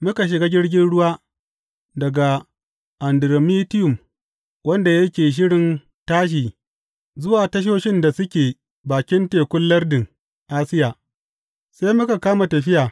Muka shiga jirgin ruwa daga Andiramitiyum wanda yake shirin tashi zuwa tasoshin da suke bakin tekun lardin Asiya, sai muka kama tafiya.